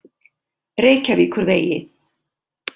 Reykjavíkurvegi